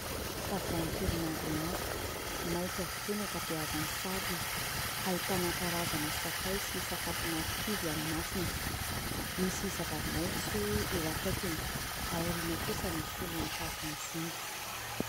Tavoahangy kely maromaro, mainty avokoa ny ankabeazan'ny sarony. Ahitana karazana sakay sy sakafo marikivy ao anatiny. Misy zava-maitso eo akaikiny. Ao aoriana kosa misy olona mitazona zinga.